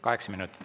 Kaheksa minutit.